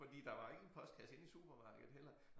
Fordi der var ingen postkasse inde i supermarkedet heller